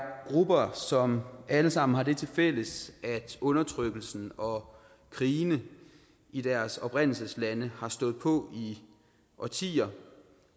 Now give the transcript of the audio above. grupper som alle sammen har det tilfælles at undertrykkelsen og krigene i deres oprindelseslande har stået på i årtier